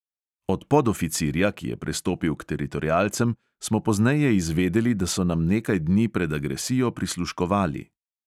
Od podoficirja, ki je prestopil k teritorialcem, smo pozneje izvedeli, da so nam nekaj dni pred agresijo prisluškovali.